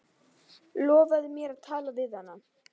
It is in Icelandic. Lofaðu mér að tala við hana.